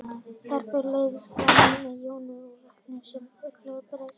Þar fer leiðnin fram með jónum í vökvanum sem fyllir holrými bergsins.